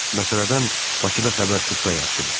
Məsələdən Bakıda xəbər tutsa yaxşıdır.